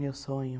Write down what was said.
Meu sonho.